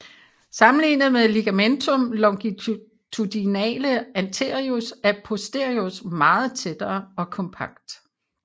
Sammenlignet med ligamentum longitudinale anterius er posterius meget tættere og kompakt